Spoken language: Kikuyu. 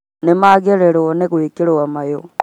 Nĩmagĩrĩirwo nĩ gwĩkĩrwo mayũ